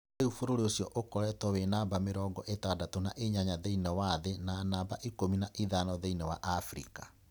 Rĩu bũrũri ũcio ukoretwo wĩ namba mĩrongo ĩtandatũ na inyanya thĩinĩ wa thĩ na namba ikumi na ithano thĩinĩ wa Afrika.